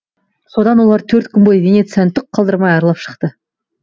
содан олар төрт күн бойы венецияны түк қалдырмай аралап шықты